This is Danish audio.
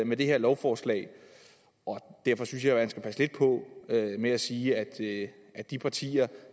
med det her lovforslag og derfor synes jeg man skal passe lidt på med at sige at sige at de partier